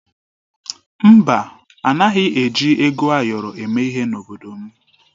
Mba, anaghị eji ego ayọrọ eme ihe n'obodo m.